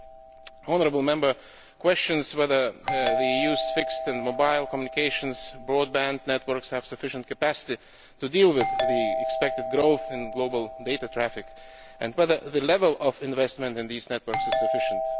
The honourable Member questions whether the EU's fixed and mobile communications broadband networks have sufficient capacity to deal with the expected growth in global data traffic and whether the level of investment in these networks is sufficient.